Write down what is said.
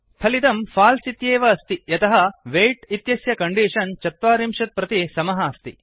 फलितं फाल्स् इत्येव अस्ति यतः वेय्ट् इत्यस्य कण्डीषन् ४० प्रति समः अस्ति